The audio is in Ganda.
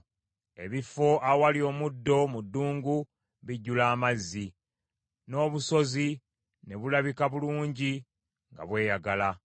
Ebifo awali omuddo mu ddungu bijjula amazzi, n’obusozi ne bulabika bulungi nga bweyagala.